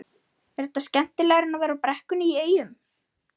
Var þetta skemmtilegra en að vera í brekkunni í Eyjum?